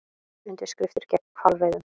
Undirskriftir gegn hvalveiðum